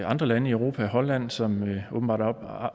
andre lande i europa holland som åbenbart